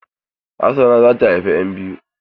Hassana za ta haifa ƴan biyu.